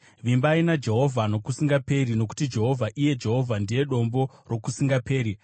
Vimba naJehovha nokusingaperi, nokuti Jehovha, iye Jehovha ndiye Dombo rokusingaperi.